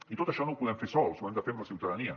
i tot això no ho podem fer sols ho hem de fer amb la ciutadania